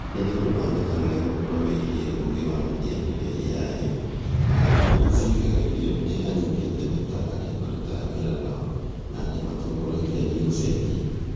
Rĩrĩa andũ mamenya wega ũhoro wĩgiĩ ũũgĩ wa mũhianĩre(AI), ithimi iria ciĩkagĩrũo nĩ anyiti itemi ta, arĩa marutaga wĩra nao na arĩa matongoragia, nĩ igũcenjia.